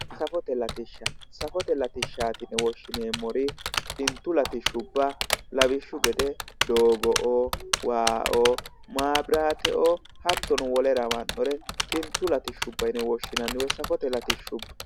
Safote latishsha. Safote latishshaati yine woshshineemmori xintu latishshubba lawishshu gede doogo"oo waa"oo maabiraateoo hattono wole lawinore xintu latishshubba yine woshshinanni. Woyi safote latishshubba.